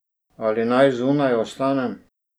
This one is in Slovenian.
Ali naj zunaj ostanem?